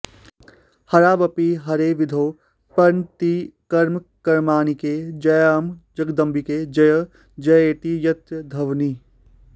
हरावपि हरे विधौ प्रणतिकर्मकार्मीणके जयाम्ब जगदम्बिके जय जयेति यत्र ध्वनिः